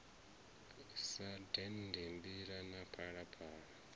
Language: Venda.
sa dende mbila na phalaphala